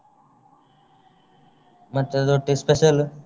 ಮತ್ತೆ ಅದ್ರೊಟ್ಟಿಗೆ special ?